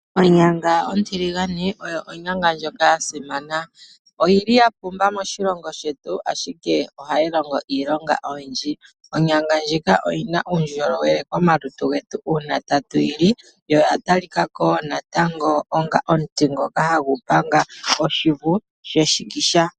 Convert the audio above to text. Onyanga ontiligane oyo onyanga ndjoka ya simana, oyili ya pumba moshilongo shetu ashike ohayi longo iilonga oyindji. Onyanga ndjika ohayi longo uundjolowele komalutu getu uuna tatu yi li, yo oya tali ka ko wo natango onga omuti ngoka hagu panga oshivu sheshikisha.